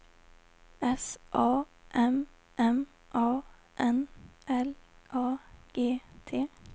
S A M M A N L A G T